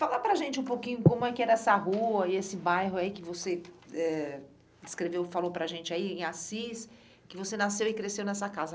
Fala para a gente um pouquinho como é que era essa rua e esse bairro aí que você eh descreveu, falou para a gente aí em Assis, que você nasceu e cresceu nessa casa.